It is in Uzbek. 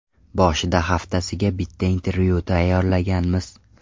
Boshida haftasiga bitta intervyu tayyorlaganmiz.